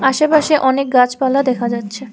আশেপাশে অনেক গাছপালা দেখা যাচ্ছে।